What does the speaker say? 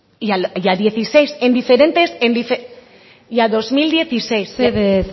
y al dieciséis en diferentes y a dos mil dieciséis mesedez